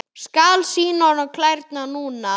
Skal sýna honum klærnar núna.